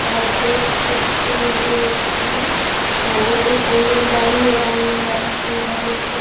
आप देख सकते हैं की वहाँ एक आँगनवाड़ी है आँगनवाड़ी के इधर एक --